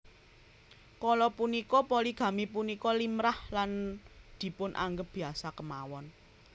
Kala punika poligami punika limrah lan dipun anggep biasa kémawon